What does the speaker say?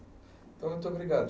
Muito obrigado.